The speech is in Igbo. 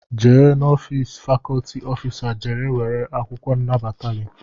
Jee n'ofịịsị fakọlti ọfịsa jee nara akwụkwọ nnabata gị!